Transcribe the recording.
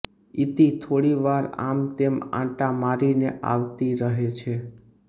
ઇતિ થોડીવાર આમતેમ આંટા મારીને આવતી રહે છે